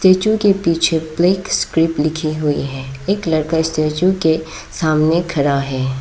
Statue के पीछे black script लिखी हुई है एक लड़का स्टैचू के सामने खड़ा है।